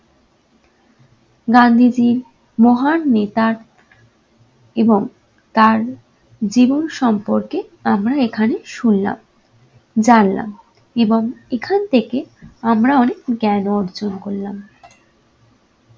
গান্ধীজীর মহান নেতার এবং তার জীবন সম্পর্কে আমরা এখানে শুনলাম, জানলাম এবং এখান থেকে আমরা অনেক জ্ঞান অর্জন করলাম।